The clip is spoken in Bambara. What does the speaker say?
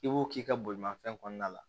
I b'o k'i ka bolimafɛn kɔnɔna la